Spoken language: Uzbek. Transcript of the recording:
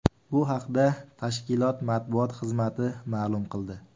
Bu haqda tashkilot matbuot xizmati ma’lum qildi .